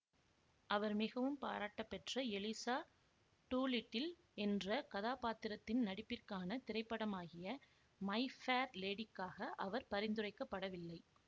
அவர் மிகவும் பாராட்டப்பெற்ற Eliza Doolittle என்ற கதாபாத்திரத்தின் நடிப்பிற்கான திரைப்படமாகிய மை ஃபேர் லேடிக்காக அவர் பரிந்துரைக்கப்படவில்லை